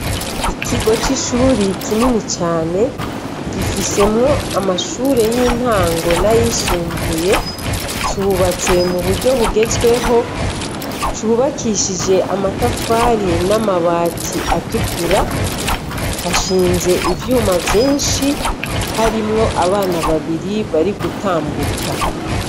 Ikigo c'ishuri ikinini cane, gifisemwo amashure y'intango nayisumbuye, cubatse mu buryo bugezweho cubakishije amatafari n'amabatsi atukura, hashinze ivyuma vyinshi harimwo abana babiri bari gutambuka.